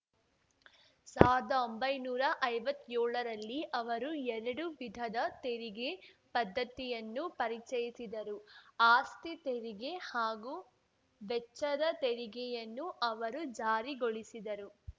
ಸಾವ್ರ್ದ ಒಂಬೈನೂರಾ ಐವತ್ ಯೋಳರಲ್ಲಿ ಅವರು ಎರಡು ವಿಧದ ತೆರಿಗೆ ಪದ್ಧತಿಯನ್ನು ಪರಿಚಯಿಸಿದರು ಆಸ್ತಿ ತೆರಿಗೆ ಹಾಗೂ ವೆಚ್ಚದ ತೆರಿಗೆಯನ್ನು ಅವರು ಜಾರಿಗೊಳಿಸಿದರು